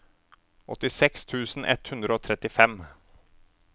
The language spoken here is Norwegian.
åttiseks tusen ett hundre og trettifem